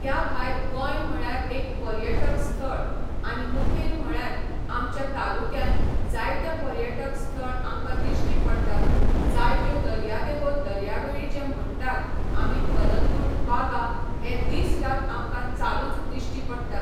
त्या भायर गोंय म्हळ्यार एक पर्यटक स्थळ आनी मुखेल म्हळ्यार आमच्या तालुक्यान जायते पर्यटक स्थळ आमकां दिश्टी पडटात जायत्यो दर्यादेगो दर्यावेळी जे म्हणटात आमी कलंगूट बागा हे दीस रात आमकां चालूच दिश्टी पडटात